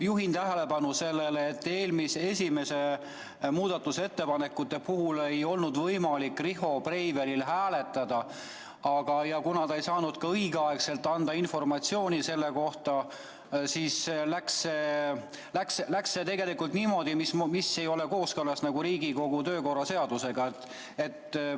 Juhin tähelepanu sellele, et esimese muudatusettepaneku puhul ei olnud võimalik Riho Breivelil hääletada ja kuna ta ei saanud ka õigeaegselt anda informatsiooni selle kohta, siis läks tegelikult nii, nagu ei ole kooskõlas Riigikogu kodu- ja töökorra seadusega.